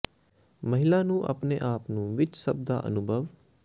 ਮਹਿਲਾ ਨੂੰ ਆਪਣੇ ਆਪ ਨੂੰ ਵਿੱਚ ਸਭ ਦਾ ਅਨੁਭਵ